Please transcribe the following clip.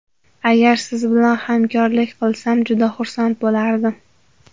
Agar siz bn hamkorlik qilsam juda xursand bo‘lardim.